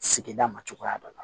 Sigida ma cogoya dɔ la